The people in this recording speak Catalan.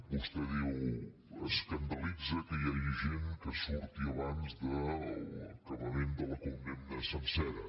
vos·tè diu escandalitza que hi hagi gent que surti abans de l’acabament de la condemna sencera